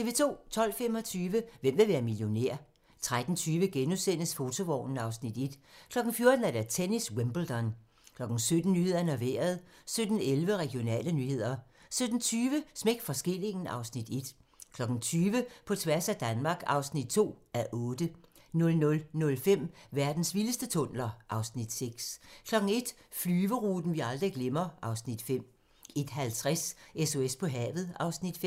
12:25: Hvem vil være millionær? 13:20: Fotovognen (Afs. 1)* 14:00: Tennis: Wimbledon 17:00: Nyhederne og Vejret 17:11: Regionale nyheder 17:20: Smæk for skillingen (Afs. 1) 20:00: På tværs af Danmark (2:8) 00:05: Verdens vildeste tunneler (Afs. 6) 01:00: Flyveturen, vi aldrig glemmer (Afs. 5) 01:50: SOS på havet (Afs. 5)